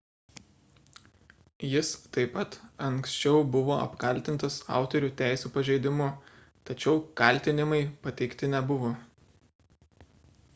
jis taip pat anksčiau buvo apkaltintas autorių teisių pažeidimu tačiau kaltinimai pateikti nebuvo